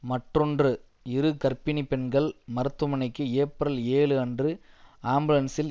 மற்றொன்று இரு கர்ப்பிணி பெண்கள் மருத்துவமனைக்கு ஏப்ரல் ஏழு அன்று ஆம்புலன்ஸில்